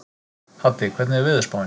Haddi, hvernig er veðurspáin?